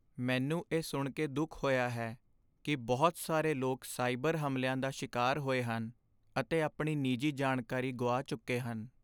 ਮੈਨੂੰ ਇਹ ਸੁਣ ਕੇ ਦੁੱਖ ਹੋਇਆ ਹੈ ਕਿ ਬਹੁਤ ਸਾਰੇ ਲੋਕ ਸਾਈਬਰ ਹਮਲਿਆਂ ਦਾ ਸ਼ਿਕਾਰ ਹੋਏ ਹਨ ਅਤੇ ਆਪਣੀ ਨਿੱਜੀ ਜਾਣਕਾਰੀ ਗੁਆ ਚੁੱਕੇ ਹਨ।